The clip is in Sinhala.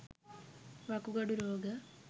වකුගඩු රෝග